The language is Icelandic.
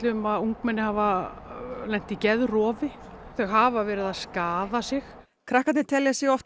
um að ungmenni hafa lent í geðrofi þau hafa verið að skaða sig krakkarnir telja sig oft